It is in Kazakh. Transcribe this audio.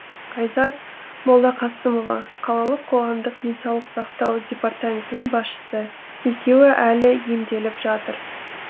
айзат молдақасымова қалалық қоғамдық денсаулық сақтау департаментінің басшысы екеуі әлі емделіп жатыр